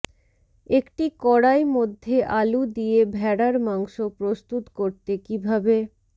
একটি কড়াই মধ্যে আলু দিয়ে ভেড়ার মাংস প্রস্তুত করতে কিভাবে